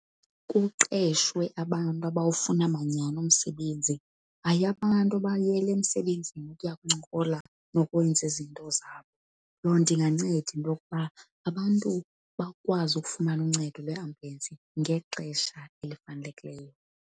Kuqeshwe abantu abantu abawufuna manyhani umsebenzi, hayi abantu abayele emsebenzini ukuya kuncokola nokwenza izinto zabo. Loo nto inganceda into yokuba abantu bakwazi ukufumana uncedo lweambyulensi ngexesha elifanelekileyo.